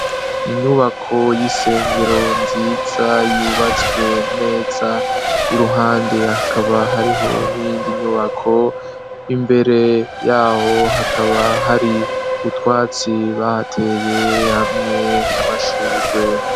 Inyubako y'isengero nziza yubatswe neza. Iruhande akaba hariho n'iyindi nyubako. Imbere yaho hakaba hari utwatsi bahateye hamye n'amashurwe.